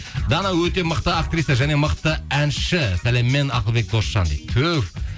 дана өте мықты актриса және мықты әнші сәлеммен ақылбек досжан дейді түһ